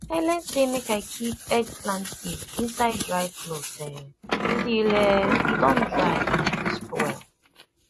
i learn say make i keep eggplant seed inside dry cloth um till um e don dry and crisp well